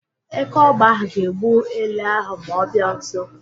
Eke ọgba ahụ ga-egbu ele ahụ ma ọ bịa nso.